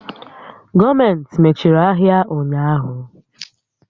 Gọọmentị mechiri ahịa ụnyaahụ.